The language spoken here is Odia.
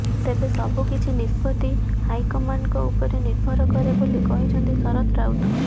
ତେବେ ସବୁ କିଛି ନିଷ୍ପତ୍ତି ହାଇକମାଣ୍ଡଙ୍କ ଉପରେ ନିର୍ଭର କରେ ବୋଲି କହିଛନ୍ତି ଶରତ ରାଉତ